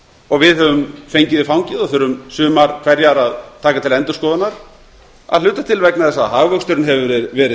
og við höfum fengið í fangið og þurfum sumar hverjar að taka til endurskoðunar að hluta til vegna þess að hagvöxturinn hefur verið